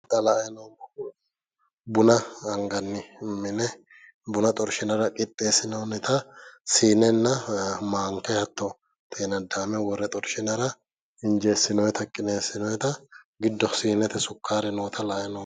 xa la''anni noommohu buna anganni mine buna xorshinara qixxeessinoonnita siinenna maanka hattono xeenadaame worree xorshinara injeessinoonnita qineessinoonnita hattono giddo siinete sukkaare noota la'anni noomo.